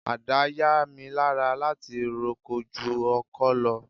Ada yá mi lára láti roko ju ọkọ lọ.